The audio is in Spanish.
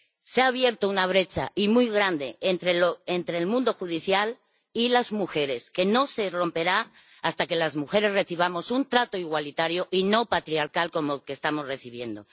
Se ha abierto una brecha, y muy grande, entre el mundo judicial y las mujeres que no se romperá hasta que las mujeres recibamos un trato igualitario y no patriarcal como el que estamos recibiendo.